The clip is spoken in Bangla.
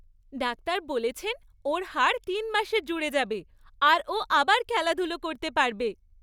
ডাক্তার বলেছেন ওর হাড় তিন মাসে জুড়ে যাবে আর ও আবার খেলাধুলো করতে পারবে।